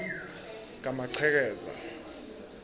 kamachekeza